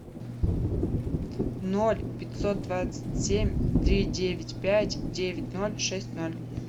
ноль пятьсот двадцать семь три девять пять девять ноль шесть ноль